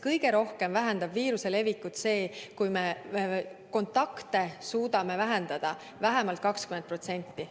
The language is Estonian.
Kõige rohkem vähendab viiruse levikut see, kui me suudame kontakte vähendada vähemalt 20%.